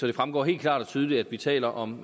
det fremgår helt klart og tydeligt at vi taler om